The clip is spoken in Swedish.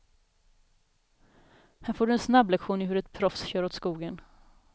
Här får du en snabblektion i hur ett proffs kör åt skogen.